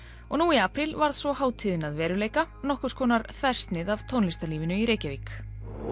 og nú í apríl varð svo hátíðin að veruleika nokkurs konar þversnið af tónlistarlífinu í Reykjavík